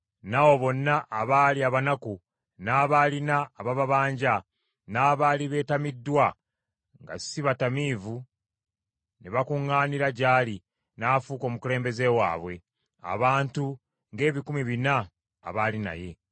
N’abo bonna abaali abanaku, n’abaalina abababanja, n’abaali beetamiddwa, nga si bamativu, ne bakuŋŋaanira gy’ali, n’afuuka omukulembeze waabwe; abantu ng’ebikumi bina abaali naye.